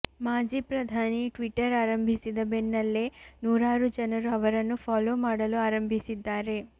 ಮಾಜಿ ಪ್ರಧಾನಿ ಟ್ವಿಟ್ಟರ್ ಆರಂಭಿಸಿದ ಬೆನ್ನಲ್ಲೇ ನೂರಾರು ಜನರು ಅವರನ್ನು ಫಾಲೋ ಮಾಡಲು ಆರಂಭಿಸಿದ್ದಾರೆ